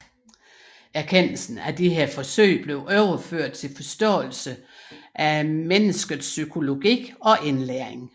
Erkendelse fra disse forsøg blev overført til forståelse af menneskets psykologi og indlæring